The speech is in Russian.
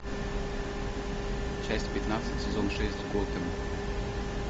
часть пятнадцать сезон шесть готэм